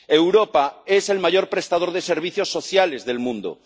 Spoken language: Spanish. Europa es el mayor prestador de servicios sociales del mundo.